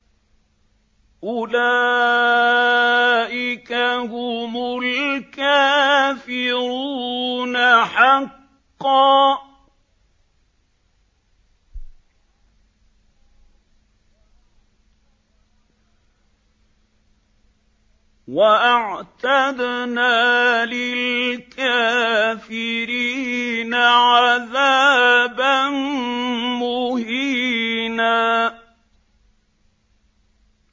أُولَٰئِكَ هُمُ الْكَافِرُونَ حَقًّا ۚ وَأَعْتَدْنَا لِلْكَافِرِينَ عَذَابًا مُّهِينًا